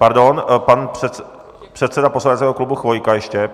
Pardon, pan předseda poslaneckého klubu Chvojka ještě.